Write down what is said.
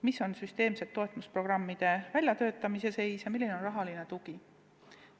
Milline on süsteemsete toetusprogrammide väljatöötamise seis ja kui suur on rahaline tugi?